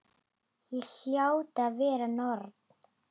Ég hljóti að vera norn.